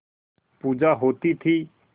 पूजा होती थी